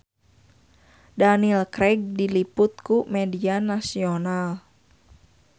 Daniel Craig diliput ku media nasional